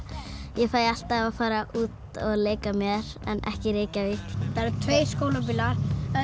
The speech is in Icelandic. ég fæ alltaf að fara út og leika mér en ekki í Reykjavík það eru tveir skólabílar